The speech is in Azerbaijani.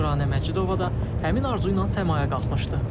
Nuranə Məcidova da həmin arzu ilə səmaya qalxmışdı.